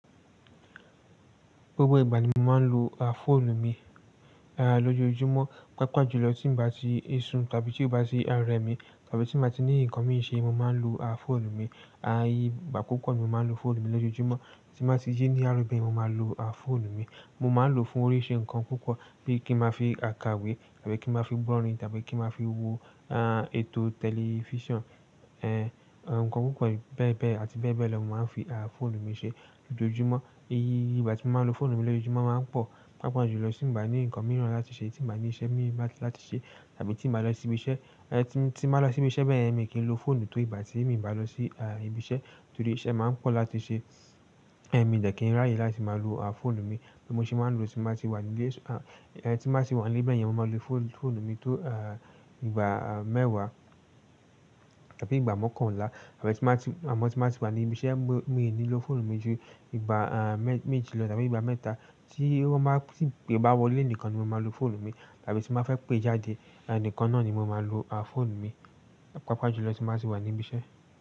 Gbogbo ìgbà ni mo máa ń lo fóònù mi lójú ojúmọ́, pàápàá jùlọ tí mo bá ti ń sun tàbí tí ó bá ti ń rẹ mí tàbí tí mo bá ti ní nǹkan mí ṣe, mo máa ń lo fóònù mi. Igbà púpọ̀ ni mo máa ń lo fóònù mi lójú ojúmọ́. Tí mo bá ti jí ní àárọ̀ bẹ́ẹ̀ ni mo máa lo fóònù mi. Mo máa ń lo fún oríṣi nǹkan púpọ̀, bíi kí mo fi kàwé tàbí kí mo fi ń gbọ́ orin tàbí kí mo fi wo ètò tẹlifíṣàn. Ǹkan púpọ̀ bẹ́ẹ̀ bẹ́ẹ̀ àti bẹ́ẹ̀ bẹ́ẹ̀ lọ ni mo máa ń fi fóònù mi ṣe lójoojúmọ́. Iye ìgbà tí mo máa ń lo fóònù mi lójoojúmọ́ máa ń pọ̀, pàápàá jùlọ tí mo bá ní nǹkan mìíràn láti ṣe, tí mo bá ní iṣẹ́ mìíràn láti ṣe tàbí tí mo bá lọ sí ibi iṣẹ́. Tí mo bá lọ sí ibi iṣẹ́ bẹ́ẹ̀ ni èmi kì í lo fóònù tó ìgbà tí èmi bá lọ sí ibi iṣẹ́. Nítorí iṣẹ́ máa ń pọ̀ láti ṣe. Ẹ̀mi jẹ̀ kí n rá yìí láti máa lo fóònù mi. Bí mo ṣe máa ń lo tí mo bá ti wà nílé, tí mo bá ti wà nílé bẹ́ẹ̀ ni mo máa lo fóònù mi tó ìgbà mẹ́wàá tàbí ìgbà mọ́kànlá àmọ́ tí mo bá ti wà ní ibi iṣẹ́ mi ò ní lo fóònù mi ju ìgbà méjì lọ tàbí ìgbà mẹ́ta tí bá wọlé ẹnìkan ni mo máa lo fóònù mi tàbí tí mo bá fẹ́ pé jáde ẹnìkan náà ni mo máa lo fóònù mi, pàápàá jùlọ tí mo bá ti wà ní ibi iṣẹ́.